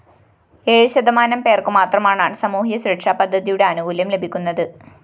ഏഴ്‌ ശതമാനം പേര്‍ക്കുമാത്രമാണ്‍സാമൂഹ്യ സുരക്ഷപദ്ധതിയുടെ ആനുകൂല്യം ലഭിക്കുന്നത്‌